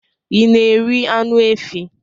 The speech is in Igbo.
ị na-eri anụ efi